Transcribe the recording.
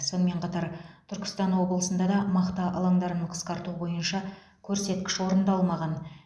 сонымен қатар түркістан облысында да мақта алаңдарын қысқарту бойынша көрсеткіш орындалмаған